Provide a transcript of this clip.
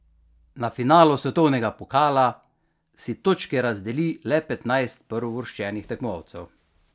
Na finalu svetovnega pokala si točke razdeli le petnajst prvouvrščenih tekmovalcev.